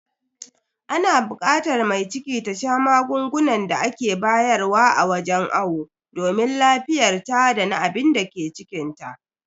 Ana bukatar mai ciki ta sha magungunan da ake bayar wa a wajen awo domin lafiyarta dana abinda ke cikinta.